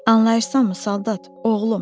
Anlayırsanmı, soldat, oğlum?